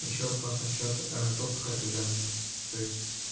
ещё вопрос насчёт допуска к экзамену то есть